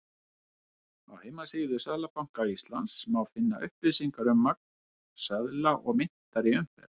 Á heimasíðu Seðlabanka Íslands má finna upplýsingar um magn seðla og myntar í umferð.